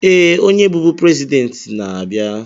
Ee, onye bụbu president na-abịa.